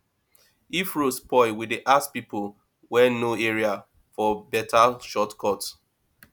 if road spoil we dey ask pipo wey know area for beta shortcut